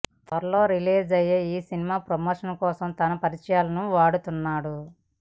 త్వరలో రిలీజ్ అయ్యే ఈ సినిమా ప్రమోషన్ కోసం తన పరిచయాలను వాడుతున్నాడు